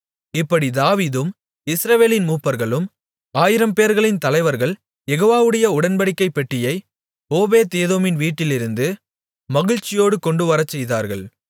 இப்படி தாவீதும் இஸ்ரவேலின் மூப்பர்களும் ஆயிரம்பேர்களின் தலைவர்கள் யெகோவாவுடைய உடன்படிக்கைப் பெட்டியை ஓபேத்ஏதோமின் வீட்டிலிருந்து மகிழ்ச்சியோடு கொண்டுவரச்செய்தார்கள்